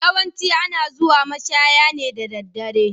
Yawancin ana zuwa mashaya ne da daddare.